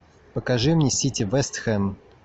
покажи мне сити вест хэм